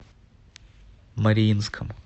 мариинском